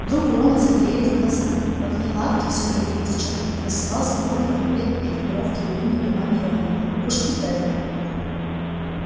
вдруг у рона загорелись глаза в окне лавки все для квиддича красовался полный комплект экипировки любимой команды рона пушки педдл